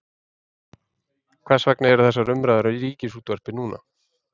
Hvers vegna eru þessar umræður um Ríkisútvarpið núna?